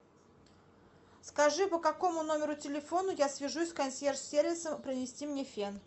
скажи по какому номеру телефона я свяжусь с консьерж сервисом принести мне фен